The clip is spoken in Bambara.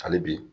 Hali bi